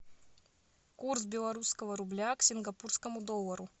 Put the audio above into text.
курс белорусского рубля к сингапурскому доллару